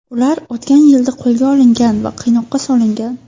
Ular o‘tgan yilda qo‘lga olingan va qiynoqqa solingan.